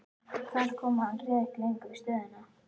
Þar kom að hann réð ekki lengur við stöðuna.